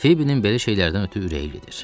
Fibinin belə şeylərdən ötrü ürəylidir.